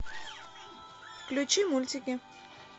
включи мультики